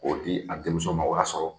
K'o di a denmuso ma o y'a sɔrɔ